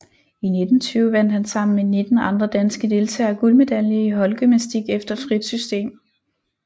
I 1920 vandt han sammen med 19 andre danske deltagere guldmedalje i holdgymnastik efter frit system